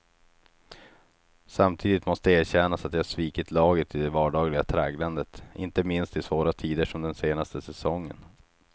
Samtidigt måste erkännas att jag svikit laget i det vardagliga tragglandet, inte minst i svåra tider som den senaste säsongen.